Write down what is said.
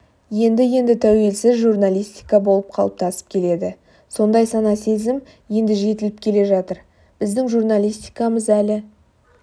енді-енді тәуелсіз журналистика болып қалыптасып келеді сондай сана-сезім енді жетіліп келе жатыр біздің журналистикамыз әлі